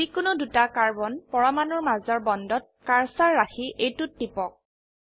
যি কোনো দুটা কাৰ্বন পৰমাণুৰ মাজৰ বন্ডত কাৰ্সাৰ ৰাখি এইটোত টিপক